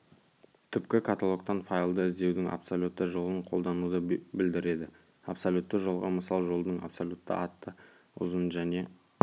түпкі каталогтан файлды іздеудің абсолютті жолын қолдануды білдіреді абсолютті жолға мысал жолдың абсолютті атты ұзын және